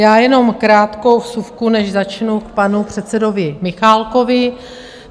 Já jenom krátkou vsuvku, než začnu, k panu předsedovi Michálkovi.